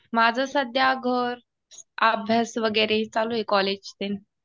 माझं सध्या घर, अभ्यास वगैरे चालू आहे कॉलेज ते.